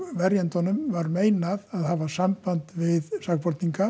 verjendum var meinað að hafa samband við sakborninga